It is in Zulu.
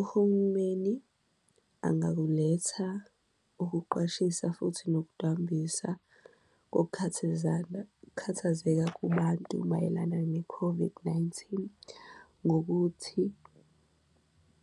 Uhulumeni angakuletha ukuqwashisa futhi nokudambisa ukukhathazana, ukukhathazeka kubantu mayelana ne-COVID-19 ngokuthi